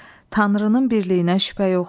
Tanrının birliyinə şübhə yoxdur.